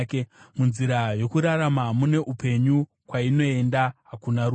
Munzira yokururama mune upenyu; kwainoenda hakuna rufu.